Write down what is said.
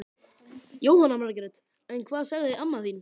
Jóhanna Margrét: En hvað sagði amma þín?